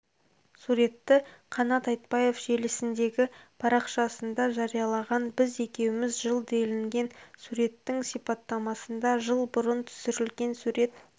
суретті қанат айтбаев желісіндегі парақшасында жариялаған біз екеуміз жыл делінген суреттің сипаттамасында жыл бұрын түсірілген сурет